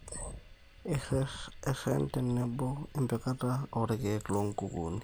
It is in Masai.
Erren tenebo empikata oorikiek loo nkukuni